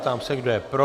Ptám se, kdo je pro.